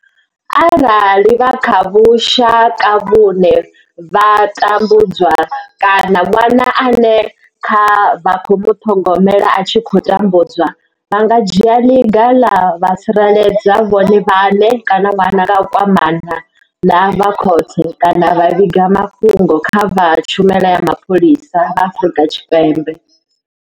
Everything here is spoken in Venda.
Arali vha kha vhushaka vhune vha tambudzwa kana ṅwana ane vha khou muṱhogomela a tshi khou tambudzwa, vha nga dzhia ḽiga vha tsireledza vhone vhaṋe kana ṅwana nga u kwamana na vha khothe kana vha vhiga mafhungo kha vha tshumelo ya mapholisa vha Afrika Tshipembe.